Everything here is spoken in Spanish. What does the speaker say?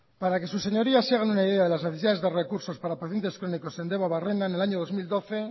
para que sus señorías se hagan una idea de las necesidades de recursos para pacientes crónicos en debabarrena en el año dos mil doce